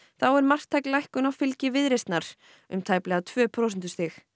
þá er marktæk lækkun á fylgi Viðreisnar um tæplega tvö prósentustig